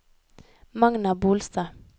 Magna Bolstad